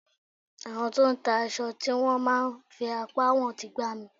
Àwọn tó ń ta aṣọ tí wón máa ń fi apá wọn ń ti gbá mi.